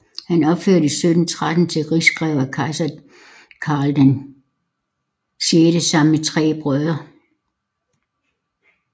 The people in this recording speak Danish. Han ophøjedes 1713 til rigsgreve af kejser Karl VI sammen med tre brødre